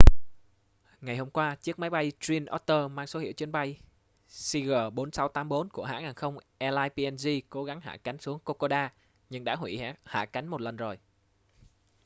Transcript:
ngày hôm qua chiếc máy bay twin otter mang số hiệu chuyến bay cg4684 của hãng hàng không airlines png cố gắng hạ cánh xuống kokoda nhưng đã huỷ hạ cánh một lần rồi